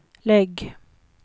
lägg